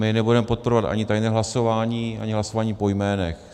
My nebudeme podporovat ani tajné hlasování, ani hlasování po jménech.